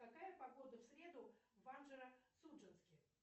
какая погода в среду в анжеро судженске